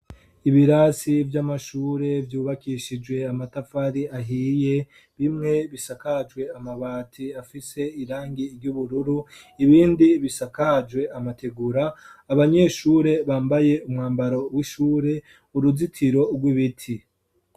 Ibirasi vy'amashure vyubakishijwe amatafari ahiye , bimwe bisakajwe amabati afise irangi ry'ubururu ibindi bisakajwe amategura ,abanyeshure bambaye umwambaro w'ishure, uruzitiro rw'ibiti.